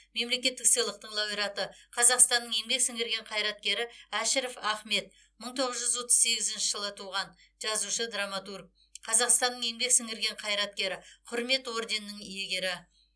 мемлекеттік сыйлықтың лауреаты қазақстанның еңбек сіңірген қайраткері әшіров ахмет мың тоғыз жүз отыз сегізінші жылы туған жазушы драматург қазақстанның еңбек сіңірген қайраткері құрмет орденінің иегері